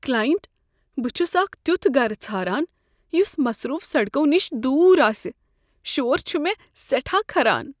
client "بہٕ چھس اکھ تیتھ گرٕ ژھاران یس مصروف سڑکو نش دور آسہ شور چھ مےٚ سیٹھاہ کھران"